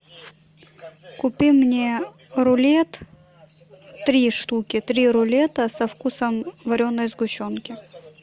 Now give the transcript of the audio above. купи мне рулет три штуки три рулета со вкусом вареной сгущенки